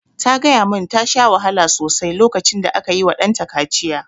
Ta gaya mun ta sha wahala sosai lokacin da aka yi wa ɗanta kaciya